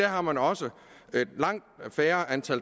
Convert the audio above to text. har man også langt færre